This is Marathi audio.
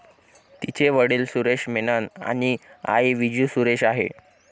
तिचे वडिल सुरेश मेनन आणि आई विजू सुरेश आहे.